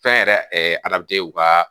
Fɛn yɛrɛ u kaa